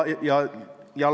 Küsimus on juriidilistes isikutes.